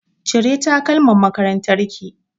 Cire takalmin makarantar ki!